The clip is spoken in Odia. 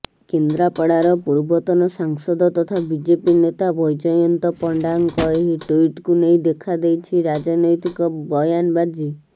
କେନ୍ଦ୍ରାପଡ଼ାର ପୂର୍ବତନ ସାଂସଦ ତଥା ବିଜେପି ନେତା ବୈଜୟନ୍ତ ପଣ୍ଡାଙ୍କ ଏହି ଟ୍ବିଟକୁ ନେଇ ଦେଖାଦେଇଛି ରାଜନୈତିକ ବୟାନବାଜି